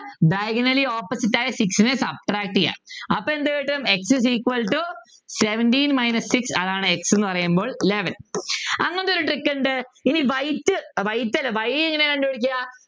Diagonally opposite ആയ Six നെ subtract ചെയ്യാ അപ്പൊ എന്ത് കിട്ടും X is equal to seventeen minus six അതാണ് x ന്നു പറയുമ്പോൾ eleven അങ്ങനത്തെ ഒരു trick ഉണ്ട് ഇനി white white അല്ല y എങ്ങനെയാ കണ്ടു പിടിക്കുക